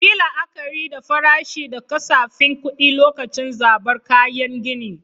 Yi la'akari da farashi da kasafin kuɗi lokacin zabar kayan gini.